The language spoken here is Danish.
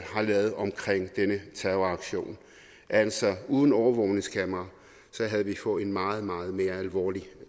har lavet om denne terroraktion altså uden overvågningskamera havde vi fået en meget meget mere alvorlig